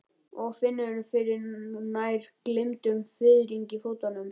Og finnur fyrir nær gleymdum fiðringi í fótum.